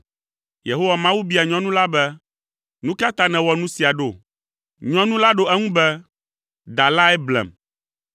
Yehowa Mawu bia nyɔnu la be, “Nu ka ta nèwɔ nu sia ɖo?” Nyɔnu la ɖo eŋu be, “Da lae blem.”